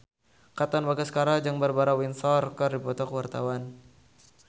Katon Bagaskara jeung Barbara Windsor keur dipoto ku wartawan